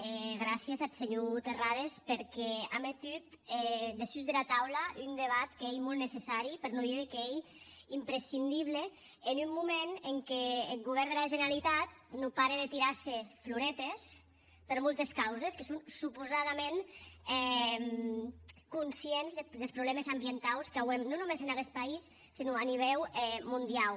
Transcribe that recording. e gràcies ath senhor terrades perque a metut dessús dera taula un debat qu’ei molt necessari per non díder qu’ei imprescindible en un moment en qu’eth govèrn dera generalitat non pare de tirar se floretes per moltes causes que son supausadament conscients des problèmes ambientaus qu’auem non sonque en aguest país senon a nivèu mondiau